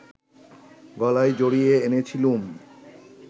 গলায় জড়িয়ে এনেছিলুম